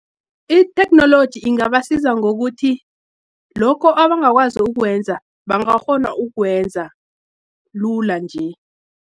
Itheknoloji ingabasiza ngokuthi, lokho abangakwazi ukwenza, bangakghona ukwenza lula nje.